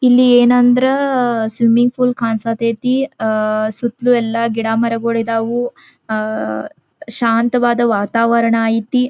ಇಲ್ಲಿ ಏನಂದ್ರ swimming pool ಕಾಣ್ ಸತ್ಯ ತಿ ಅಹ್ ಸುತ್ತಲೂ ಎಲ್ಲಾ ಗಿಡ ಮರಗಳು ಇದವು ಅಹ್ ಶಾಂತವಾದ ವಾತಾವರಣ ಐತಿ.